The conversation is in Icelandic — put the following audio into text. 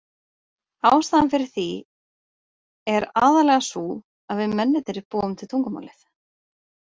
Ástæðan fyrir því er aðallega sú að við mennirnir búum til tungumálið.